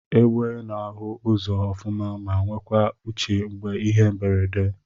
Egbe na ahu ụzọ ọfuma ma nwekwa uche mgbe ihe mberede.